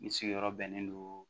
N sigiyɔrɔ bɛnnen don